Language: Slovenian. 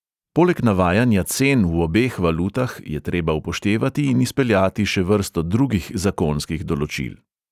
Poleg navajanja cen v obeh valutah je treba upoštevati in izpeljati še vrsto drugih zakonskih določil.